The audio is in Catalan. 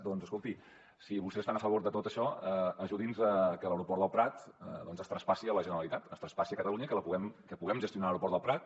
doncs escolti si vostès estan a favor de tot això ajudin a que l’aeroport del prat es traspassi a la generalitat es traspassi a catalunya i que puguem gestionar l’aeroport del prat